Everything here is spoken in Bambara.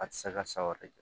A tɛ se ka sa wɛrɛ kɛ